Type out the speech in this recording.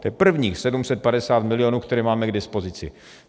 To je prvních 750 milionů, které máme k dispozici.